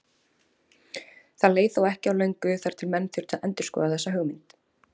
Það leið þó ekki á löngu þar til menn þurftu að endurskoða þessa hugmynd.